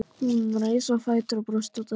Hún reis á fætur og brosti út að eyrum.